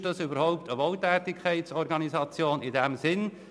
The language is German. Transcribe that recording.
Ist das überhaupt eine Wohltätigkeitsorganisation in diesem Sinn?